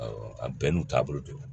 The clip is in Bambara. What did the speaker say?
Awɔ a bɛɛ n'u taabolo don